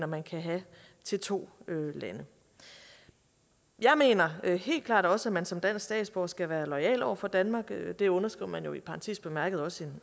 man kan have til to lande jeg mener helt klart også at man som dansk statsborger skal være loyal over for danmark det underskriver man jo i parentes bemærket også